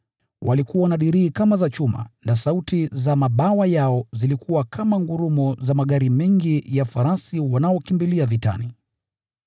Walikuwa na dirii kama za chuma, na sauti za mabawa yao zilikuwa kama ngurumo za farasi wengi na magari mengi yakikimbilia vitani.